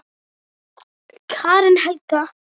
Karen Helga.